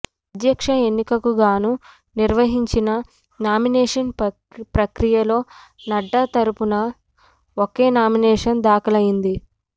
అధ్యక్ష ఎన్నికకుగానూ నిర్వహించిన నామినేషన్ ప్రక్రియలో నడ్డా తరపున ఒకే నామినేషన్ దాఖలైంది